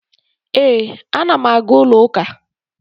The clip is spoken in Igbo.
Ee, ana m aga ụlọụka